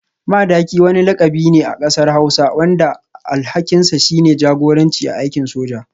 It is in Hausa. Madaki wani lakabi ne a kasar hausa wanda alhakinsa shine jagoranci a aikin soja.